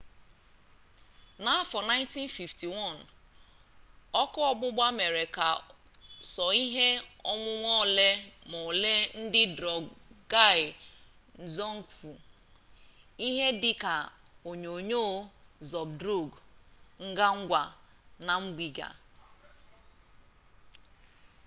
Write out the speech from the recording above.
n'afọ 1951 ọkụ ọgbụgba mere ka sọ ihe onwunwe ole m'ole nke drukgyal dzong fọ ihe dị ka onyonyo zabdrung ngawang namgial